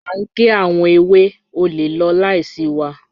A ń gé àwọn èwè, o lè lọ̀ láisí wà